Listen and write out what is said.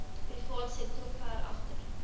privaatsektor ver agter